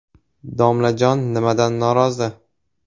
Domlajon nimadan norozi?.